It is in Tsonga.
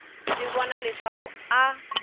swi vona leswaku a a